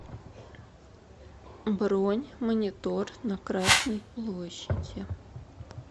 бронь монитор на красной площади